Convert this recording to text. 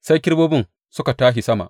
Sai kerubobin suka tashi sama.